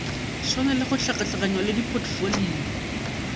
swanele go hlakahlakanywa le dipotfolio